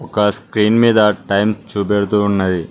ఆ స్క్రీన్ మీద టైం చూపెడుతూ ఉన్నది.